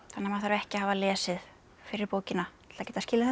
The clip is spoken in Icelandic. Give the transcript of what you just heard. maður þarf ekki að hafa lesið fyrri bókina til að geta skilið þessa